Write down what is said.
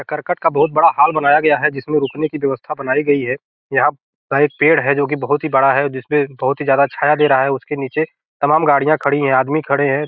ये करकट का बहोत बड़ा हॉल बनाया गया है जिसमें रुकने की व्यवस्था बनाई गई है | यहाँ पे एक पेड़ है जो बहुत बड़ा है | जिसपे बहोत ही ज्यादा छाया दे रहा है उसके नीचे तमाम गाड़ियाँ खड़ी है आदमी खड़े हैं |